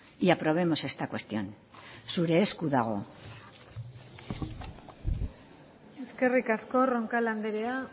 y aprobemos esta cuestión zure esku dago eskerrik asko roncal andrea